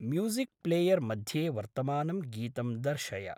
Music player मध्ये वर्तमानं गीतं दर्शय।